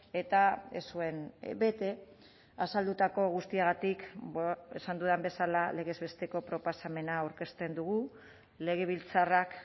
eta ez zuen bete azaldutako guztiagatik esan dudan bezala legez besteko proposamena aurkezten dugu legebiltzarrak